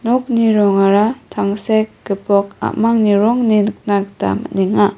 nokni rongara tangsek gipok a·mangni rong ine nikna gita man·enga.